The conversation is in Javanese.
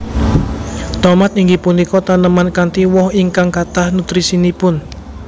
Tomat inggih punika taneman kanthi woh ingkang kathah nutrisinipun